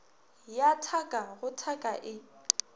ya thaka go thaka e